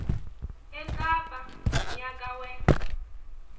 ekapa ngomnyaka we